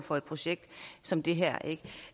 for et projekt som det her